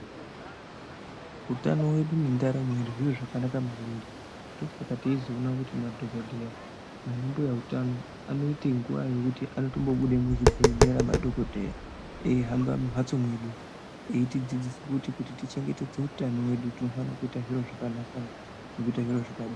Utano wedu nendaramo yedu zviro zvakanaka maningi ndosaka teizoona kuti madhokoteya nana mbuya utano anoita nguwa yekuti anobuda muzvibhedhlera madhokoteya eihamba mumbatso medu eitidzidzisa kuti tichengetedze utano hwedu tinofana kuita zviro zvakanaka nekuita zviro zvakadii.